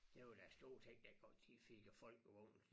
Det var da stort set der hvor de fik øh Folkevogn